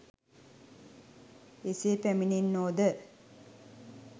එසේ පැමිණෙන්නෝද